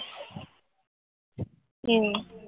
એવું